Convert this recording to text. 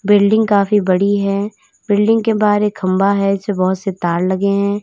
Building काफी बड़ी है बिल्डिंग के बाहर एक खंभा है इसपे बहोत से तार लगे हैं।